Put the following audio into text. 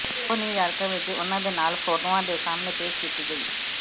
ਉਹ ਨਿਊਯਾਰਕ ਵਿਚ ਉਨ੍ਹਾਂ ਦੇ ਨਾਲ ਫੋਟੋਆਂ ਦੇ ਸਾਮ੍ਹਣੇ ਪੇਸ਼ ਕੀਤੀ ਗਈ